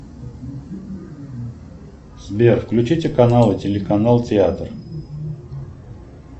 сбер включите каналы телеканал театр